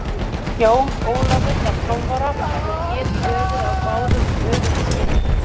Jón Ólafur var 12 ára og hét í höfuðið á báðum öfum sínum.